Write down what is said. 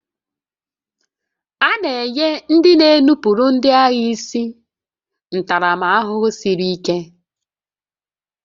A na-enye ndị na-enupụrụ ndị agha isi ntaramahụhụ siri ike